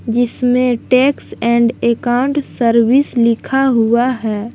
जिसमें tax and account service लिखा हुआ है।